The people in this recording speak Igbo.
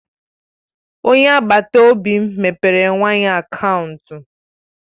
Onye agbata obi m mepere nwa ya akaụntụ.